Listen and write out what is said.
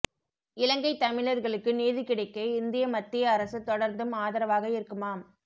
இலங்கை தமிழர்களுக்கு நீதி கிடைக்க இந்திய மத்திய அரசு தொடர்ந்தும் ஆதரவாக இருக்குமாம்